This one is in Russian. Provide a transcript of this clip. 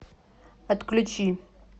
отключи